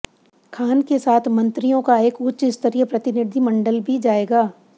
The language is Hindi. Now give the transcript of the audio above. खान के साथ मंत्रियों का एक उच्च स्तरीय प्रतिनिधिमंडल भी जाएगा